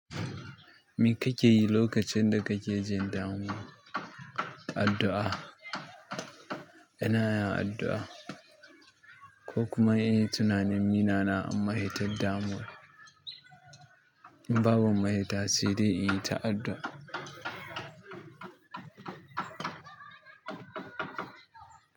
Me kake yi lokacin da kake jin damuwa? Addu'a. Yana addu'a ko kuma yin tunanin yinnana a maheta damuwa. Babu ma ta sai dai in dinga addua.